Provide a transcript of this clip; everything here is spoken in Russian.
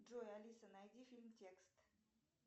джой алиса найди фильм текст